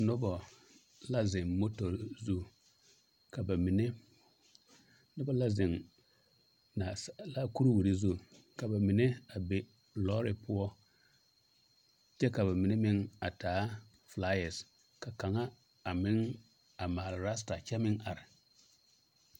Noba la zeŋ motori zu ka ba mine noba la zeŋ naasaalaa kuriwiri zu ka ba mine a be lɔɔre poɔ kyɛ ka ba mine meŋ a taa flyers ka kaŋa a meŋ a maale raster kyɛ meŋ are.